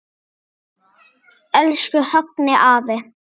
Elsku Högni afi.